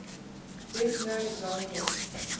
best known example